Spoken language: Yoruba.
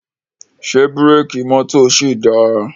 Ṣé búrékì mọ́tò ṣì dáa?